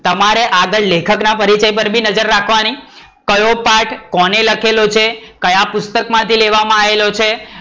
તમારે આગળ લેખક ના પરિચય બી નજર રાખવાની, કયો પાઠ કોને લખેલો છે, ક્યાં પુસ્તક માંથી લેવામાં આવેલો છે.